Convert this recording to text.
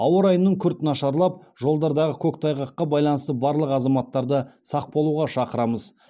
ауа райының күрт нашарлап жолдардағы көктайғаққа байланысты барлық азаматтарды сақ болуға шақырамыз